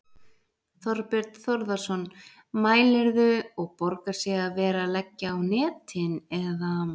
Þorbjörn Þórðarson: Mælirðu, og borgar sig að vera að leggja á netin, eða?